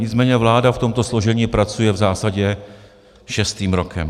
Nicméně vláda v tomto složení pracuje v zásadě šestým rokem.